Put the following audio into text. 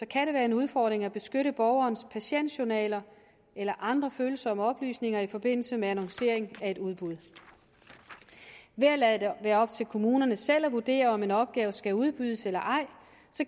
kan det være en udfordring at beskytte borgerens patientjournal eller andre følsomme oplysninger i forbindelse med annonceringen af et udbud ved at lade det være op til kommunerne selv at vurdere om en opgave skal udbydes eller ej